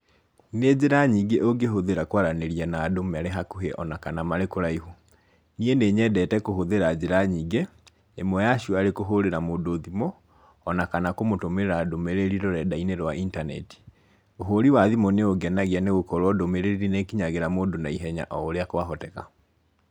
Nĩ njĩra nyingĩ ũngĩhũthĩra kwaranĩria na andũ marĩ hakuhi o na kana marĩ kũraihu. Niĩ nĩ nyendete kũhũthĩra njĩra nyingĩ. ĩmwe ya cio arĩ kũhũrĩra mũndũ thimũ, o na kana kũmũtũmĩra ndũmĩrĩri rũrenda-inĩ rwa internet. Ũhũri wa thimũ nĩ ũngenagia nĩ gũkorwo ndũmĩrĩri nĩ ĩkinyagĩra mũndũ naihenya o ũrĩa kwahoteka.